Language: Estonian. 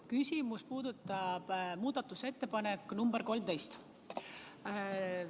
Küsimus puudutab muudatusettepanekut nr 13.